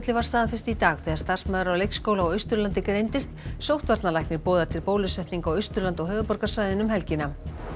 var staðfest í dag þegar starfsmaður á leikskóla á Austurlandi greindist sóttvarnalæknir boðar til bólusetninga á Austurlandi og höfuðborgarsvæðinu um helgina